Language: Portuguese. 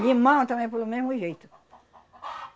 Limão também, pelo mesmo jeito.